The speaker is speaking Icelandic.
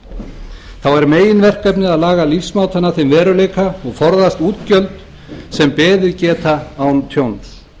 er meginverkefnið að laga lífsmátann að þeim veruleika og forðast útgjöld sem beðið geta án tjóns